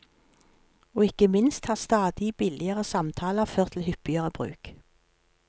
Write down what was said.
Og ikke minst har stadig billigere samtaler ført til hyppigere bruk.